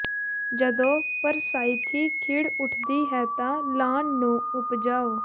ਜਦੋਂ ਪਰਸਾਈਥੀ ਖਿੜ ਉੱਠਦੀ ਹੈ ਤਾਂ ਲਾਅਨ ਨੂੰ ਉਪਜਾਉ